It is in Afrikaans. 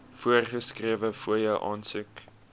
voorgeskrewe fooie aansoek